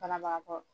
Banabagatɔ